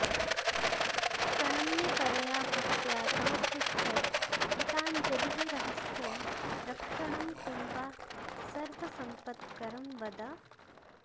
प्रणम्य परया भक्त्या तमपृच्छत् कृताञ्जलिः रहस्यं रक्षणं किं वा सर्वसम्पत्करं वद